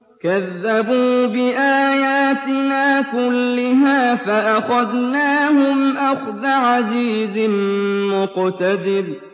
كَذَّبُوا بِآيَاتِنَا كُلِّهَا فَأَخَذْنَاهُمْ أَخْذَ عَزِيزٍ مُّقْتَدِرٍ